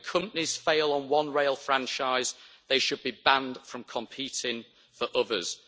When companies fail on one rail franchise, they should be banned from competing for others.